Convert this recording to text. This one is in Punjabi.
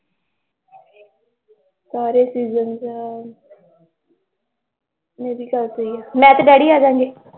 ਸਾਰੇ season ਚ ਮੇਰੀ ਮੈਂ ਤੇ daddy ਆ ਜਾਵਾਂਗੇ